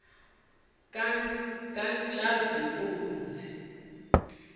katshazimpuzi